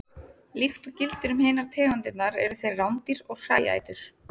Líkt og gildir um hinar tegundirnar eru þeir rándýr og hræætur.